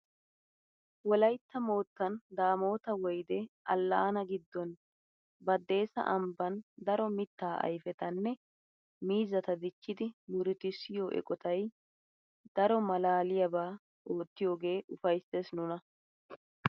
Wolaytta moottan damota woyde allaanaa giddon badessa ambbaan daro mittaa ayfetanne miizzaata dichchidi murutusiyoo eqotay daro malaliyaaba oottiiyoge ufaysses nuna!